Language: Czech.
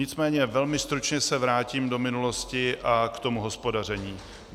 Nicméně velmi stručně se vrátím do minulosti a k tomu hospodaření.